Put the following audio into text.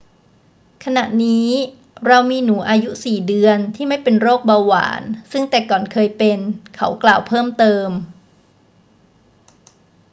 ขณะนี้เรามีหนูอายุ 4 เดือนที่ไม่เป็นโรคเบาหวานซึ่งแต่ก่อนเคยเป็น เขากล่าวเพิ่มเติม